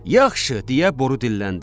Yaxşı, deyə boru dilləndi.